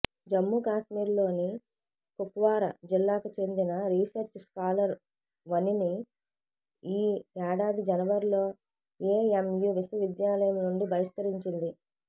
జమ్మూ కాశ్మీర్లోని కుప్వార జిల్లాకు చెందిన రీసెర్చ్ స్కాలర్ వనిని ఈ ఏడాది జనవరిలో ఎఎంయు విశ్వవిద్యాలయం నుండి బహిష్కరించింది